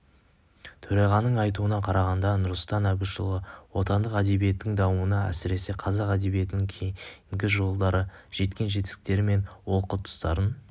төрағаның айтуына қарағанда нұрсұлтан әбішұлы отандық әдебиеттің дамуына әсіресе қазақ әдебиетінің кейінгі жылдары жеткен жетістіктері мен олқы тұстарын